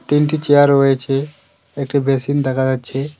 তিনটি চেয়ার রয়েছে একটি বেসিন দেখা যাচ্ছে।